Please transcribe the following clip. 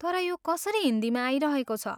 तर यो कसरी हिन्दीमा आइरहेको छ?